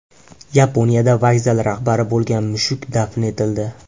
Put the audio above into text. Yaponiyada vokzal rahbari bo‘lgan mushuk dafn etildi.